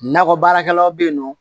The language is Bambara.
Nakɔ baarakɛlaw bɛ yen nɔ